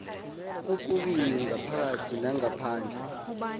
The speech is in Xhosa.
kokubini ngaphakathi nangaphandle